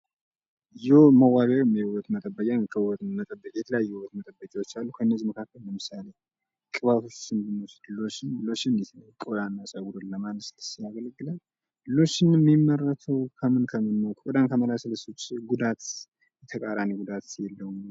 የመዋቢያ ወይም የዉበት መጠበቂያ የተለያዩ የዉበት መጠበቂያዎች አሉ። ከእነዚህ መካከል ለምሳሌ ቅባቶች ብንወስድ ሎሽን ፀጉርን ለማለስለስ ስለሚያገለግለን ሎሽን የሚመረተዉ ከምን ከምን ነዉ? ቆዳን ከማለስለስ ዉጭ ጉዳት ተቃራኒ ጉዳት የለዉም ወይ?